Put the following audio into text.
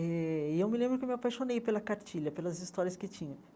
Eh e eu me lembro que eu me apaixonei pela cartilha, pelas histórias que tinha.